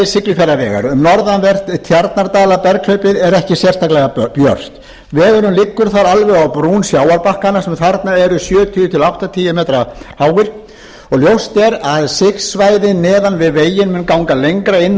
siglufjarðarvegar um norðanvert tjarnardalaberghlaupið er ekki sérstaklega björt vegurinn liggur þar alveg á brún sjávarbakkanna sem þarna eru sjötíu til áttatíu m háir og ljóst er að sigsvæðin neðan við veginn munu ganga lengra inn og upp